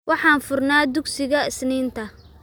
Waxaan furnaa dugsiga Isniinta.